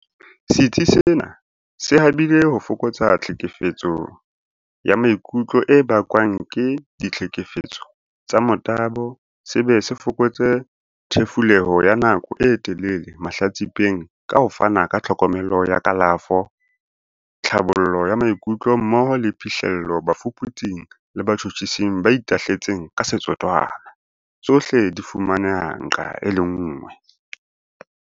Setsi sena se habile ho fokotsa tlhekefetseho ya maikutlo e bakwang ke ditlhekefetso tsa motabo se be se fokotse thefuleho ya nako e telele mahlatsi-peng ka ho fana ka tlhokomelo ya kalafo, tlhabollo ya maikutlo mmoho le phihlello bafuputsi-ng le batjhutjhising ba itahletseng ka setotswana, tsohle di fumaneha nqa e le nngwe.